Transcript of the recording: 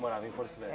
Morava em Porto